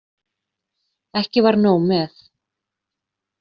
Ekki var nóg með.